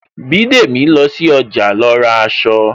Bidemi lọ sí ọjà lọ ra aṣọ